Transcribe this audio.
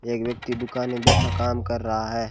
एक व्यक्ति दुकान में बैठा काम कर रहा है।